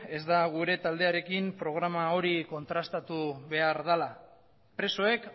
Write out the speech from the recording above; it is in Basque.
ez da gure taldearekin programa hori kontrastatu behar dela presoek